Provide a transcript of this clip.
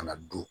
Ka na du